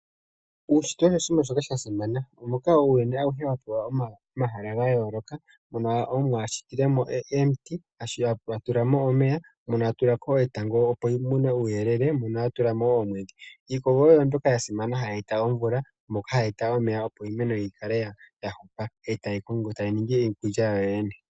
Uushitwe osho oshinima shoka shasimana moka uuyuni awuhe wapewa omahala ga yooloka mono omuwa ashitilemo omiti eta tulamo etango opo tumone uuyelele mono atulamo iimeno uuyelele mono atulamo woo omwedhi. Iikogo oyo mbyoka ya simana hayi eta omvula moka hayi eta omeya opo iimane yikale ya hupa etayi ningi iikulya yawo yoyene.